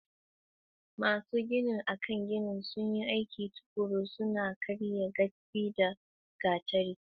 Masu ginin a kan ginin sun yi aiki tuƙuru, suna karya datti da gatari.